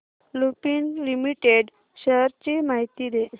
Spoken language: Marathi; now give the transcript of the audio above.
लुपिन लिमिटेड शेअर्स ची माहिती दे